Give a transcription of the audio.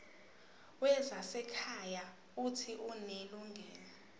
wezasekhaya uuthi unelungelo